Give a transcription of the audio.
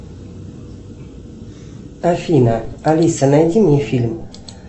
афина алиса найди мне фильм